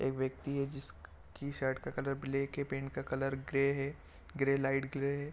एक व्यक्ति है जिसकी शर्ट का कलर ब्लैक है पैंट का कलर ग्रे है ग्रे लाइट ग्रे है।